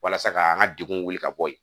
Walasa ka an ka degun wuli ka bɔ yen